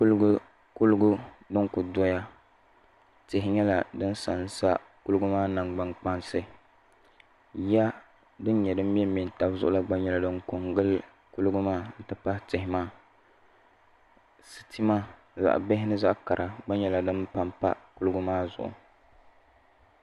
Kuliga din ku doya tihi nyɛla din sansa kuliga maa nangbani kpaŋa yiya din mɛmɛ taba zuɣu la gba nyɛla din ko n gilli kuliga maa n ti pahi tihi maa sitima zaɣ bihi ni zaɣ kara gba nyɛla din ko n gili kuliga maa